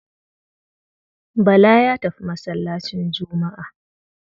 Bala ya tafi masallacin Juma'a.